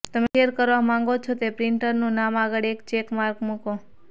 તમે શેર કરવા માંગો છો તે પ્રિન્ટરનું નામ આગળ એક ચેક માર્ક મૂકો